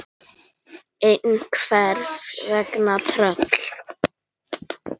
En hvers vegna tröll?